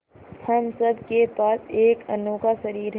हम सब के पास एक अनोखा शरीर है